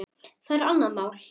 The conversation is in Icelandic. Það er annað mál.